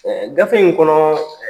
Ɛɛ gafe in kɔnɔ